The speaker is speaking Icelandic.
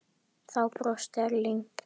Þá brosti Erling.